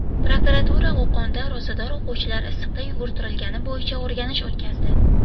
Prokuratura Qo‘qonda ro‘zador o‘quvchilar issiqda yugurtirilgani bo‘yicha o‘rganish o‘tkazdi.